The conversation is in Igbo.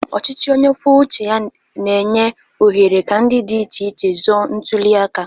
Ọchịchị onye kwuo uche ya na-enye ohere ka ndị dị iche iche zọọ ntuli aka.